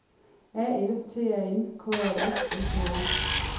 A L T A N K A S S E R